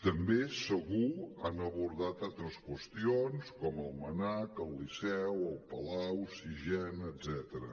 també segur han abordat altres qüestions com el mnac el liceu el palau sixena etcètera